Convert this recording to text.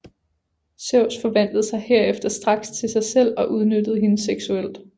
Zeus forvandlede sig herefter straks til sig selv og udnyttede hende seksuelt